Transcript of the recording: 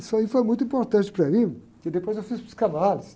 Isso aí foi muito importante para mim, porque depois eu fiz psicanálise.